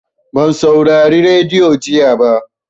Ban saurari radiyo jiya ba.